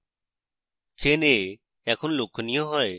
chain a এখন লক্ষণীয় হয়